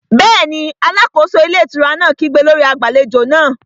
Bẹ́ẹ̀ni, alákóso ilé ìtura náà kígbe lórí agbàlejò náà